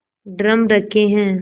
drum रखे हैं